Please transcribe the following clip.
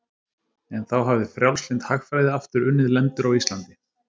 En þá hafði frjálslynd hagfræði aftur unnið lendur á Íslandi.